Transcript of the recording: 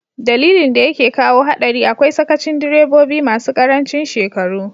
Dalilin da yake kawo hadari akwai sakacin direbobi masu karancin shekaru.